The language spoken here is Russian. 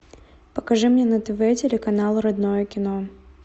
покажи мне на тв телеканал родное кино